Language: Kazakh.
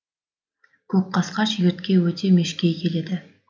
көкқасқа шегіртке өте мешкей келеді